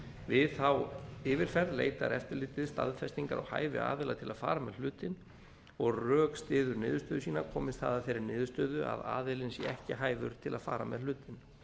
við þá yfirferð leitar eftirlitið staðfestingar á hæfi aðila til að fara með hlutinn og rökstyður niðurstöðu sína komist það að þeirri niðurstöðu að aðilinn sé ekki hæfur til að fara með hlutinn